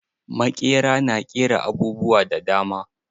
Maƙera na ƙera abubuwa da dama.